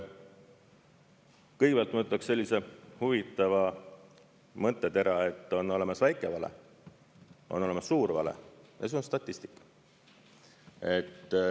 Kõigepealt ma ütleks sellise huvitava mõttetera, et on olemas väike vale, on olemas suur vale ja on statistika.